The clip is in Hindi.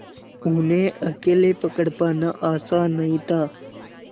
उन्हें अकेले पकड़ पाना आसान नहीं था